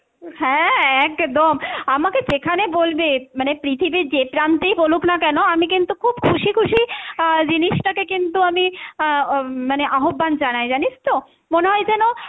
হ্যাঁ একদম, আমাকে যেখানে বলবে মানে পৃথিবীর যে প্রান্তেই বলুক না কেন, আমি কিন্তু খুব খুশি খুশি আহ জিনিসটাকে কিন্তু আমি আহ উম মানে আহ্বান জানায় জানিস তো, মনে হয় যেন